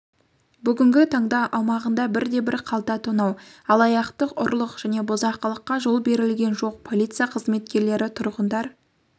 бүгінгі таңда аумағында бірде-бір қалта тонау алаяқтық ұрлық және бұзақылыққа жол берілген жоқ полиция қызметкерлері тұрғындар